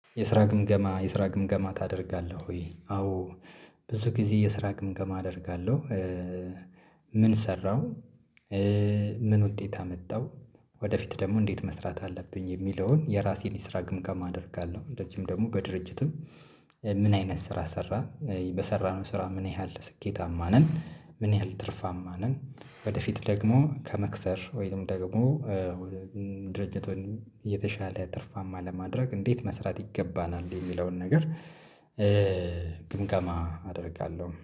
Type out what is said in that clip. የስራ ግምገማ የስራ ግምገማ ታደርጋለህ ወይ? አዎ ብዙ ጊዜ የስራ ግምገማ አደርጋለሁ። ምን ሰራው? ምን ውጤት አመጣው? ወደፊት ደግሞ እንዴት መስራት አለብኝ የሚለውን የራሴን የስራ ግምገማ አደርጋለሁ። እንደዚሁም ደግሞ በድርጅትም ምን አይነት ስራ ሰራን? በሰራነው ስራ ምን ያህል ስኬታማ ነን? ምን ያህል ትርፋማ ነን? ወደፊት ደግሞ ከመክሰር ወይም ደግሞ ድርጅቱን የተሻለ ትርፋማ ለማድረግ እንዴት መስራት ይገባናል? የሚለውን ነገር ግምገማ አደርጋለሁ።